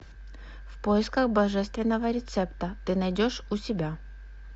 в поисках божественного рецепта ты найдешь у себя